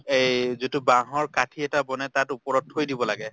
এই যিটো বাহৰ কাঠি এটা বনাই তাত উপৰত থৈ দিব লাগে।